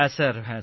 হ্যাঁ স্যার